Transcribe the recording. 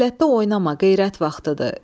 Qəflətdə oynama, qeyrət vaxtıdır.